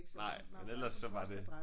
Nej men ellers så var det